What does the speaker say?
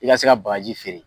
I ka se ka bagaji feere.